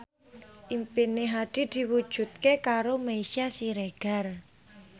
impine Hadi diwujudke karo Meisya Siregar